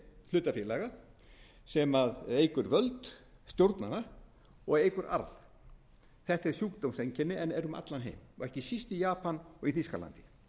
hlutafélaga sem eykur völd stjórnanna og eykur arð þetta er sjúkdómseinkenni en er um allan heim og ekki síst í japan og í þýskalandi